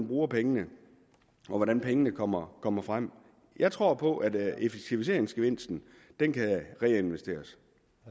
bruger pengene og hvordan pengene kommer kommer frem jeg tror på at effektiviseringsgevinsten kan reinvesteres